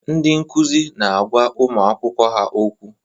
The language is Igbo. Ndị nkuzi na-agwa ụmụ akwụkwọ ha okwu.